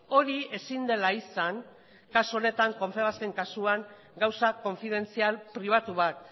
hori ezin dela izan kasu honetan konfebasken kasuan gauza konfidentzial pribatu bat